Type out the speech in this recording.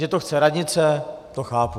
Že to chce radnice, to chápu.